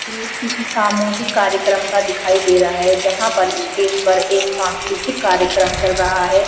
मेज किसी सामूहिक कार्यक्रम का दिखाई दे रहा है जहाँ पर स्टेज पर एक सांस्कृतिक कार्यक्रम चल रहा है।